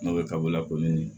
N'o ye kabako la kɔni